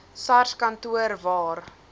sars kantoor waar